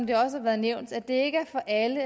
det også har været nævnt at det ikke er alle